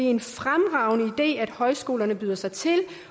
en fremragende idé at højskolerne byder sig til